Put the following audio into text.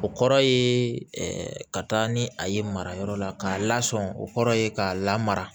O kɔrɔ ye ka taa ni a ye marayɔrɔ la k'a lasɔmi o kɔrɔ ye k'a lamara